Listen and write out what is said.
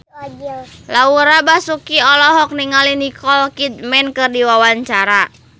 Laura Basuki olohok ningali Nicole Kidman keur diwawancara